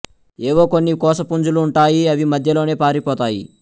ఎవో కొన్ని కోస పుంజు లుంటాయి అవి మధ్యలోనే పారిపోతాయి